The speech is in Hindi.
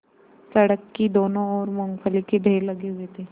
सड़क की दोनों ओर मूँगफली के ढेर लगे हुए थे